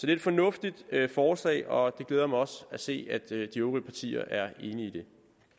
er et fornuftigt forslag og det glæder mig også at se at de øvrige partier er enige